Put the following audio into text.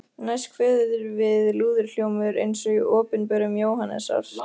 Næst kveður við lúðurhljómur eins og í Opinberun Jóhannesar